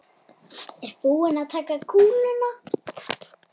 Er búið að taka kúluna?